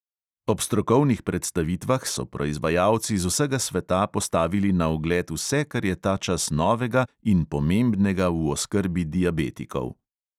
Ob strokovnih predstavitvah so proizvajalci z vsega sveta postavili na ogled vse, kar je tačas novega in pomembnega v oskrbi diabetikov.